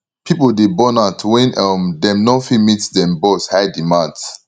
pipo dey burn out wen um dem no fit meet dem bosss high demands